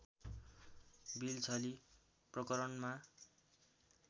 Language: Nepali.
बिल छली प्रकरणमा